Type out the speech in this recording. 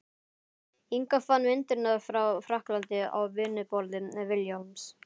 Inga fann myndirnar frá frakklandi á vinnuborði Vilhjálms.